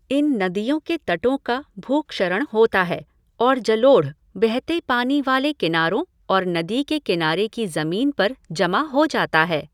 इन नदियों के तटों का भू क्षरण होता है और जलोढ़ बहते पानी वाले किनारों और नदी के किनारे की ज़मीन पर जमा हो जाता है।